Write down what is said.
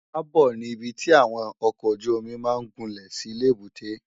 Ábò ni ibi ti áwòn òkòójùómì má n gúnlé si lébùté